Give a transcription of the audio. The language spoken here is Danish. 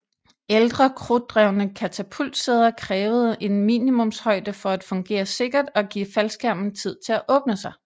Ældre krudtdrevne katapultsæder krævede en minimumshøjde for at fungere sikkert og give faldskærmen tid til at åbne sig